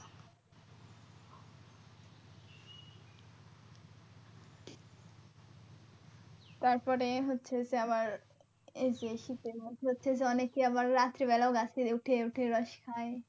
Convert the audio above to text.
তারপরে হচ্ছে যে আবার এইযে শীতের মধ্যে হচ্ছে যে অনেকে আবার রাত্রি বেলাও গাছে উঠে উঠেও রস খাই।